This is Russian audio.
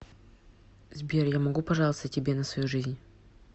сбер я могу пожаловаться тебе на свою жизнь